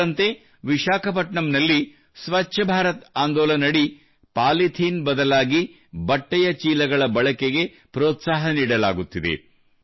ಇದರಂತೆ ವಿಶಾಖ ಪಟ್ಟಣಂ ದಲ್ಲಿ ಸ್ವಚ್ಛ ಭಾರತ ಆಂದೋಲನ ಅಡಿ ಪಾಲಿಥೀನ್ ಬದಲಾಗಿ ಬಟ್ಟೆಯ ಚೀಲಗಳ ಬಳಕೆಗೆ ಪ್ರೋತ್ಸಾಹಿಸಲಾಗುತ್ತಿದೆ